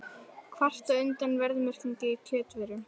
Kvarta undan verðmerkingum á kjötvörum